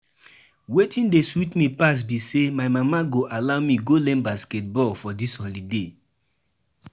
E get dis my aunt wey dey live for Switzerland I wan go visit wen holiday start